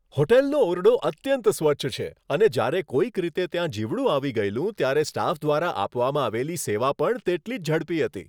હોટલનો ઓરડો અત્યંત સ્વચ્છ છે, અને જ્યારે કોઈક રીતે ત્યાં જીવડું આવી ગયેલું ત્યારે સ્ટાફ દ્વારા આપવામાં આવેલી સેવા પણ તેટલી જ ઝડપી હતી.